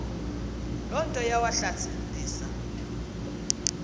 loo nto yawahlasimlisa